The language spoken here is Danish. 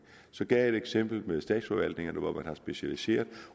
så gav jeg et eksempel med statsforvaltningerne hvor man har specialiseret